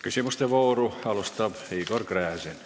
Küsimuste vooru alustab Igor Gräzin.